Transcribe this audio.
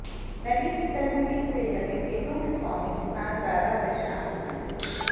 नदी की तलहटी से लगे खेतों के स्वामी किसान ज्यादा परेशान हैं